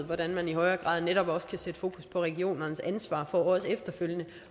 hvordan man i højere grad netop også kan sætte fokus på regionernes ansvar for også efterfølgende